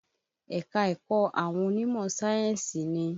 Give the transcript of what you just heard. Ẹ̀ka-ẹ̀kọ́ àwọn onímọ̀ sáyénsì ni.